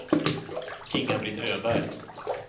Inga-Britt Öberg